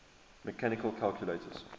mechanical calculators